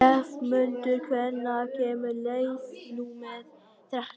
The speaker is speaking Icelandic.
slefmundur, hvenær kemur leið númer þrettán?